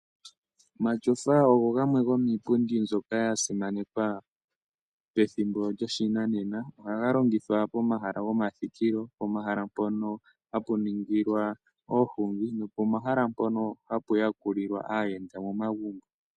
Omatyofa ogo gamwe gomiipundi mbyoka ya simanekwa pethimbo lyoshinanena, oha ga longithwa pomahala gomathikilo pomahala mpono hapu ningilwa oohungi nopomahala mpono ha pu yakulilwa aayenda momagumbo.